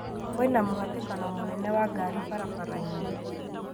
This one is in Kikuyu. Kwĩna mũhatĩkano mũnene wa ngari barabara-inĩ